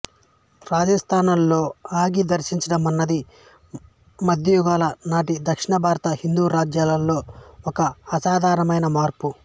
రాజాస్థానాల్లో అంగీ ధరించడం అన్నది మధ్యయుగాల నాటి దక్షిణ భారత హిందూ రాజ్యాల్లో ఒక అసాధారణమైన మార్పు